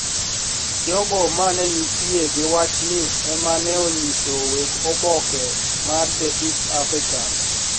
Jogo ma ne nitie gi wachni ema ne onyiso weg oboke mar The East African